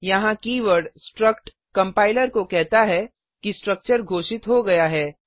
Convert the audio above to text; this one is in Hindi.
यहाँ कीवर्ड स्ट्रक्ट कंपाइलर को कहता है कि स्ट्रक्चर घोषित हो गया है